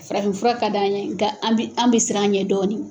Farafin fura ka d'an ye nka an bi siran a ɲɛ dɔɔnin.